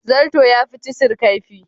Zarto yafi cisir kaifi.